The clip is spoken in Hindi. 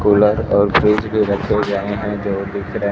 कूलर और फ्रिज भी रखें हुये है जो दिख रहे--